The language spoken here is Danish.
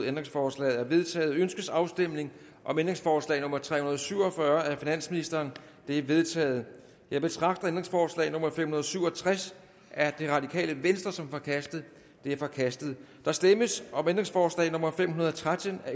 ændringsforslaget er vedtaget ønskes afstemning om ændringsforslag nummer tre hundrede og syv og fyrre af finansministeren det er vedtaget jeg betragter ændringsforslag nummer fem hundrede og syv og tres af rv som forkastet det er forkastet der stemmes om ændringsforslag nummer fem hundrede og tretten af